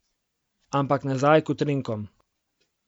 Ampak nazaj k utrinkom.